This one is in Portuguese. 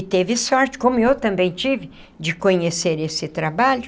E teve sorte, como eu também tive, de conhecer esse trabalho,